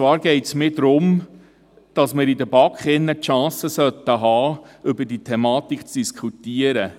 Es geht mir darum, dass wir in der BaK die Chance haben sollten, über diese Thematik zu diskutieren.